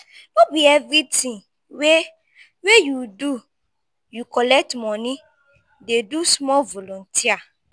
no be everytin wey wey you do you collect moni dey do small volunteer.